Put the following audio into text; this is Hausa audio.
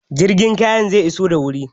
Jirgin kayan zai iso da wuri?